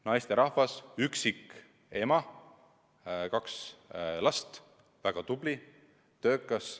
Naisterahvas, üksikema, kaks last, väga tubli, töökas.